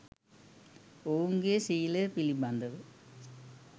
ඔවුන්ගේ ශීලය පිළිබඳව